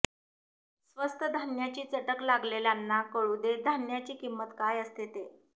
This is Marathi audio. स्वस्त धान्याची चटक लागलेल्यांना कळू दे धान्याची किंमत काय असते ते